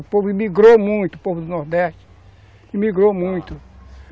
O povo migrou muito, o povo do Nordeste, migrou muito.